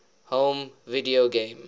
home video game